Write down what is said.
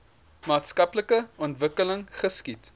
maatskaplike ontwikkeling geskied